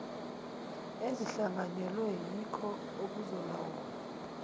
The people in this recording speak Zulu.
ezihlanganyelwe yiko okuzolawula